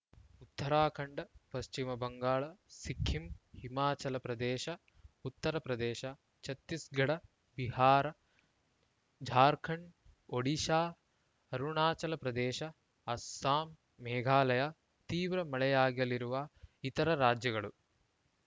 ಉತ್ತರಾಖಂಡ ಪಶ್ಚಿಮ ಬಂಗಾಳ ಸಿಕ್ಕಿಂ ಹಿಮಾಚಲ ಪ್ರದೇಶ ಉತ್ತರ ಪ್ರದೇಶ ಛತ್ತೀಸ್‌ಗಢ ಬಿಹಾರ ಜಾರ್ಖಂಡ್‌ ಒಡಿಶಾ ಅರುಣಾಚಲ ಪ್ರದೇಶ ಅಸ್ಸಾಂ ಮೇಘಾಲಯ ತೀವ್ರ ಮಳೆಯಾಗಲಿರುವ ಇತರ ರಾಜ್ಯಗಳು